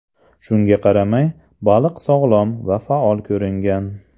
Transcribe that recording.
Shunga qaramay, baliq sog‘lom va faol ko‘ringan.